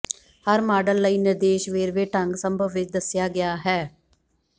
ਹਰ model ਲਈ ਨਿਰਦੇਸ਼ ਵੇਰਵੇ ਢੰਗ ਸੰਭਵ ਵਿਚ ਦੱਸਿਆ ਗਿਆ ਹੈ